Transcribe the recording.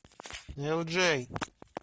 элджей